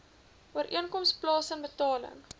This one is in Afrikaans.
ooreenkoms plaasen betaling